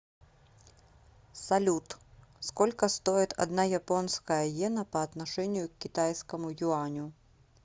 салют сколько стоит одна японская йена по отношению к китайскому юаню